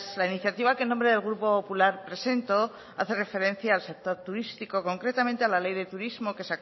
la iniciativa que en nombre del grupo popular presento hace referencia al sector turístico concretamente a la ley de turismo que